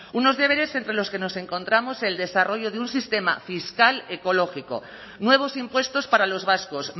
unos deberes entre los que nos encontramos el desarrollo de un sistema fiscal ecológico nuevos impuestos para los vascos